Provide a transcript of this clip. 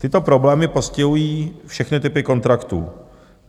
Tyto problémy postihují všechny typy kontraktů.